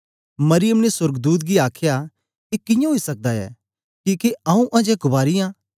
मरियम ने सोर्गदूत गी आखया ए कियां ओई सकदा ऐ किके आऊँ अजें कुआरी आं